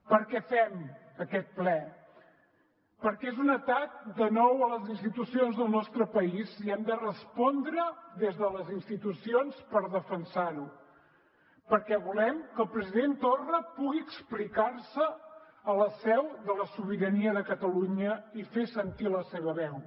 per què fem aquest ple perquè és un atac de nou a les institucions del nostre país i hem de respondre des de les institucions per defensar ho perquè volem que el president torra pugui explicar se a la seu de la sobirania de catalunya i fer sentir la seva veu